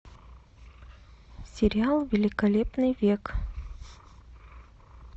сериал великолепный век